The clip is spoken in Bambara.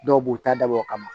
Dɔw b'u ta dabɔ o kama